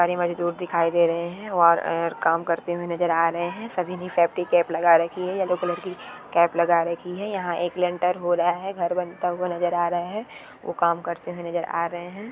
और ये मजदूर दिखाई दे रहे है और काम करते हुए नजर आ रहे है और सभी ने सेफ्टी कैप लगा राखी है येलो कलर की कैप लगा रखी है यहाँ एक हो रहा है घर बनता हुआ नजर आ रहा है काम करते हुए नजर आ रहा है।